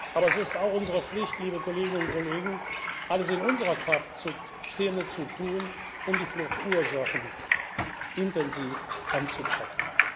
Aber es ist auch unsere Pflicht, liebe Kolleginnen und Kollegen, alles in unserer Kraft Stehende zu tun, um die Fluchtursachen intensiv anzupacken.